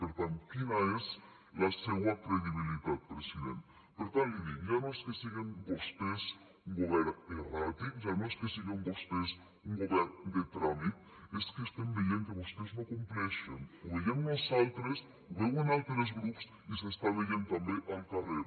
per tant quina és la seua credibilitat president per tant li dic ja no és que siguen vostès un govern erràtic ja no és que siguen vostès un govern de tràmit és que estem veient que vostès no compleixen ho veiem nosaltres ho veuen altres grups i s’està veient també al carrer